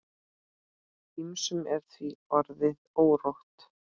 Ýmsum er því orðið órótt.